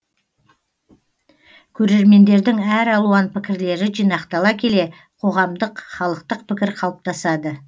көрермендердің әр алуан пікірлері жинақтала келе қоғамдық халықтық пікір қалыптасады